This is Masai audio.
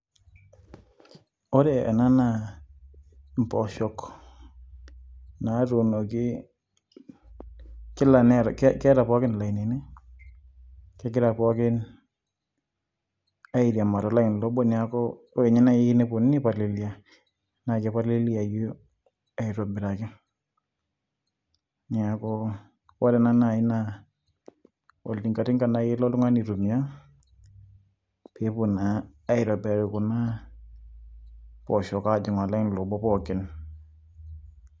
Ore ena naa impooshok natuunoki, kila nee keeta pooki ilainini. Kegira pookin airiamaa tolaini obo, neeku ore nye nai eneponunui ai palilia ,na kipaliliayu aitobiraki. Neeku ore ena nai naa oltinkatinka nai elo oltung'ani aitumia, pepuo naa aitobirari kuna pooshok ajing' olaini obo pookin.